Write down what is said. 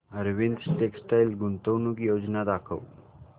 Arvind textile गुंतवणूक योजना दाखव